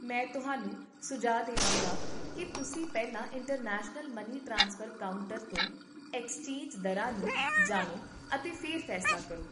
ਮੈਂ ਤੁਹਾਨੂੰ ਸੁਝਾਅ ਦੇਵਾਂਗਾ ਕਿ ਤੁਸੀਂ ਪਹਿਲਾਂ ਇੰਟਰਨੈਸ਼ਨਲ ਮਨੀ ਟ੍ਰਾਂਸਫਰ ਕਾਊਂਟਰ ਤੋਂ ਐਕਸਚੇਂਜ ਦਰਾਂ ਨੂੰ ਜਾਣੋ ਅਤੇ ਫਿਰ ਫੈਸਲਾ ਕਰੋ